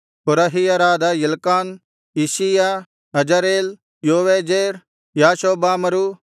ಕೋರಹಿಯರಾದ Elkanah Isshiah Azarel Joezer ಯಾಷೊಬ್ಬಾಮರು